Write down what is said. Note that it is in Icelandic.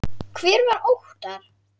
Hver var Óttar?